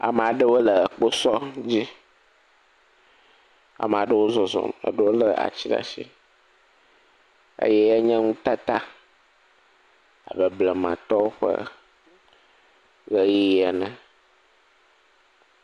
Ame aɖewo le kposɔ dzi, ame aɖewo zɔzɔm le ati ɖe asi eye wonye nutata abe blamatɔwo ƒe ʋeyiʋi ene.